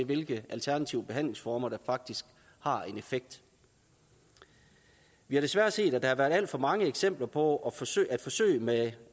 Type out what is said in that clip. hvilke alternative behandlingsformer der faktisk har en effekt vi har desværre set at der har været alt for mange eksempler på forsøg forsøg med